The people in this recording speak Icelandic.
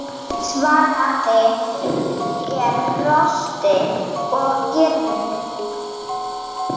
Svarið er: Losti og girnd.